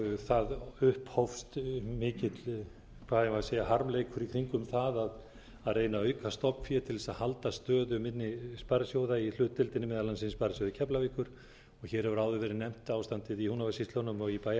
það upphófst mikill hvað eigum við að segja harmleikur í kringum það að reyna að auka stofnfé til þess að halda stöðu minni sparisjóða í hlutdeildinni meðal annars í sparisjóði keflavíkur og hér hefur áður verið nefnt ástandið í húnavatnssýslunum og í